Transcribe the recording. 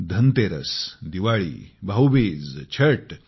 Dhanteras Diwali Bhaubeej Chhath